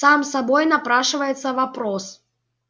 сам собой напрашивается вопрос